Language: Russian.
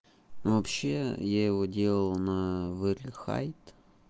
ну вообще я его делал на вери хайт